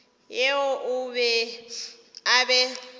yeo o be a e